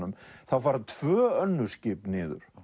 þá fara tvö önnur skip niður